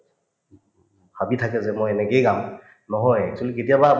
ভাবি থাকে যে মই এনেকেই গাম নহয় actually কেতিয়াবা